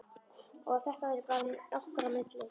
Og að þetta væri bara okkar á milli.